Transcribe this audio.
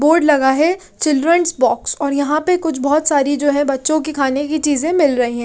Board लगा है children's box और यहां पे कुछ बहोत सारी जो है बच्चों की खाने की चीजे मिल रही है।